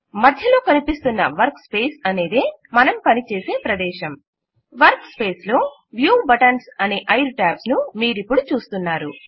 మధ్యలో కనిపిస్తున్న work space అనేదే మనం పనిచేసే ప్రదేశం వర్క్ స్పేస్ లో వ్యూ బటన్స్ అనే 5 ట్యాబ్స్ ను మీరిపుడు చూస్తున్నారు